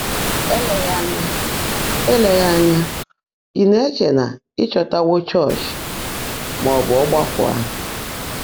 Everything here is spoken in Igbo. Éléghị́ ányá ị́ Éléghị́ ányá ị́ ná-èchè ná ị́ chọ́táwó chọ́ọ́chị́, má ọ́ bụ́ ọ́gbákwọ́ áhụ́.